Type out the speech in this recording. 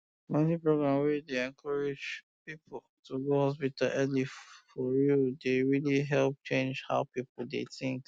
community programs wey dey encourage people to go hospital early for real dey really help change how people dey think